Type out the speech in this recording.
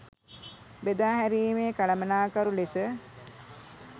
බෙදාහැරීමේ කළමනාකරු ලෙස